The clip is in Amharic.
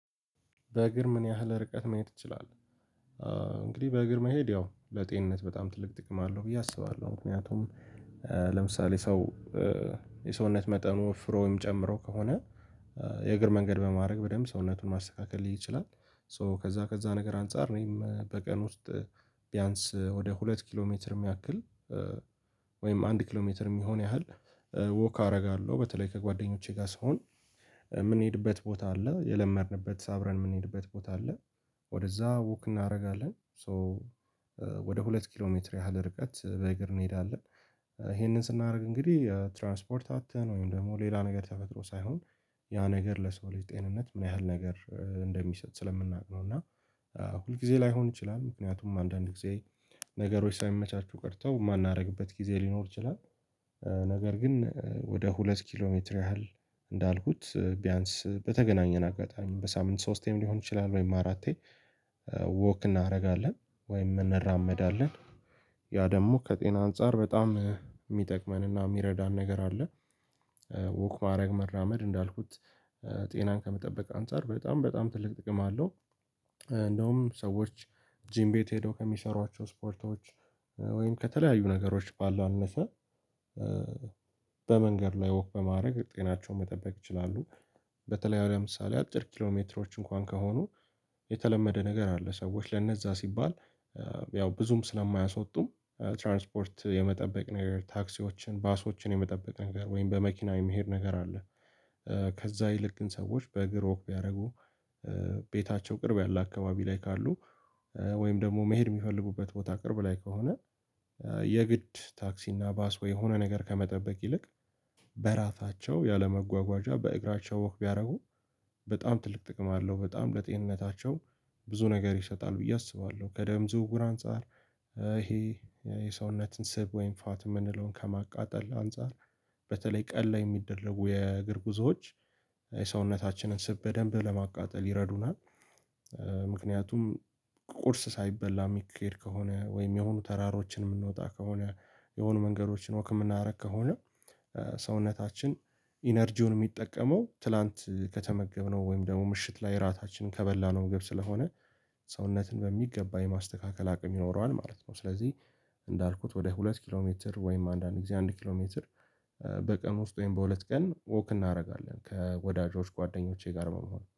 በእግር ምን ያህል ርቀት መሄድ ትችላለህ? እንግዲህ በእግር መሄድ ያው ለጤንነት በጣም ትልቅ ጥቅም አለው ብዬ አስባለሁ ምክንያቱም ለምሳሌ ሰው የሰውነት መጠኑ ወፍሮ ወይም ጨምሮ ከሆነ የእግር መንገድ በማድረግ በደንብ ሰውነቱን ማስተካከል ሊችል ይችላል ሶ ከዛ ከዛ ነገር አንፃር እኔም በቀን ውስጥ ቢያንስ ወደ ሁለት ኪሎ ሜትር የሚያክል ወይም አንድ ኪሎ ሜትር የሚሆን ያህል ወክ አደርጋለሁ በተለይ ከጓደኞቼ ጋር ስሆን የምንሄድበት ቦታ አለ የለመድንበት አብረን የምንሄድበት ቦታ አለ ወደዛ ውክ እናደርጋለን ሶ ወደ ሁለት ኪሎ ሜትር ያህል ርቀት በእግር እንሄዳለን ይሄንን ስናደርግ እንግዲህ ትራንስፖርት አጥተን ወይም ደግሞ ሌላ ነገር ተፈጥሮ ሳይሆን ያ ነገር ለሰው ልጅ ጤንነት ምን ያህል ነገር እንደሚሰጥ ስለምናውቅ ነው እና ሁል ጊዜ ላይሆን ይችላል ምክንያቱም አንዳንድ ጊዜ ነገሮች ሳይመቻቹ ቀርተው የማናደርግበት ጊዜ ሊኖር ይችላል ነገር ግን ወደ ሁለት ኪሎ ሜትር ያህል እንዳልኩት ቢያንስ በተገናኘን አጋጣሚ በሳምንት ሶስቴም ሊሆን ይችላል ወይም አራቴ ወክ እናደርጋለን ወይም እንራመዳለን ያ ደግሞ ከጤና አንፃር በጣም የሚጠቅመንና የሚረዳን ነገር አለ ውክ ማድረግ መራመድ እንዳልኩት ጤናን ከመጠበቅ አንፃር በጣም በጣም ትልቅ ጥቅም አለ፤ እንደውም ሰዎች ጂም ቤት ሄደው ከሚሰሩዋቸው ስፖርቶች ወይም ከተለያዩ ነገሮች ባላነሰ በመንገድ ላይ ወክ በማድረግ ጤናቸውን መጠበቅ ይችላሉ በተለይ ለምሳሌ አጭር ኪሎ ሜትሮች እንኳን ከሆኑ የተለመደ ነገር አለ፤ ሰዎች ለነዛ ሲባል ያው ብዙም ስለማያስወጡም ትራንስፖርት የመጠበቅ ነገር ታክሲዎችን ባሶችን የመጠበቅ ነገር ወይም በመኪና የመሄድ ነገር አለ ከዛ ይልቅ ግን ሰዎች በእግር ወክ ቢያደርጉ ቤታቸው ቅርብ ያለ አካባቢ ላይ ካሉ ወይም ደግሞ መሄድ የሚፈልጉበት ቦታ ቅርብ ላይ ከሆነ የግድ ታክሲ እና ባስ የሆነ ነገር ከመጠበቅ ይልቅ በራሳቸው ያለመጓጓዣ በእግራቸው ወክ ቢያደርጉ በጣም ትልቅ ጥቅም አለው በጣም ለጤንነታቸው ብዙ ነገር ይሰጣል ብዬ አስባለሁ ከደም ዝውውር አንፃር ይሄ የሰውነትን ስብ ወይም ፋት የምንለውን ከማቃጠል አንፃር በተለይ ቀል ላይ የሚደረጉ የእግር ጉዞዎች የሰውነታችንን ስብ በደንብ ለማቃጠል ይረዱናል ምክንያቱም ቁርስ ሳይበላ የሚሄድ ከሆነ ወይም የሆኑ ተራሮችን የምንወጣ ከሆነ የሆኑ መንገዶችን ወክ የምናረግ ከሆነ ሰውነታችን ኢነርጂውን የሚጠቀመው ትላንት ከተመገብነው ወይም ደግሞ ምሽት ላይ እራታችንን ከበላነው ምግብ ስለሆነ ሰውነትን በሚገባ የማስተካከል አቅም ይኖረዋል ማለት ነው ስለዚህ እንዳልኩት ወደ ሁለት ኪሎ ሜትር ወይም አንዳንድ ጊዜ አንድ ኪሎ ሜትር በቀን ውስጥ ወይም በሁለት ቀን ወክ እናደርጋለን ከወዳጆች ጓደኞቼ ጋር በመሆን